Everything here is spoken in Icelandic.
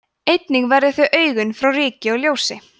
einnig verja þau augun fyrir ryki og ljósi